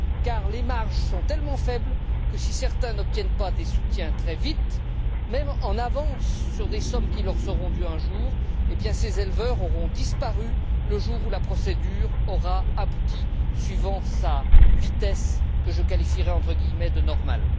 Car les marges sont tellement faibles que, si certains n'obtiennent pas des soutiens très vite, voire des avances sur des sommes qui leur seront dues un jour, ces éleveurs auront disparu le jour où la procédure aura abouti suivant une vitesse que je qualifierais de normale.